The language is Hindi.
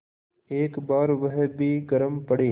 एक बार वह भी गरम पड़े